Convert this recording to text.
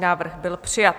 Návrh byl přijat.